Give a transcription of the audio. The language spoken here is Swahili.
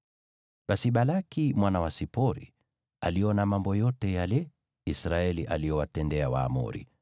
Basi Balaki mwana wa Sipori, aliona mambo yale yote ambayo Israeli aliwatendea Waamori,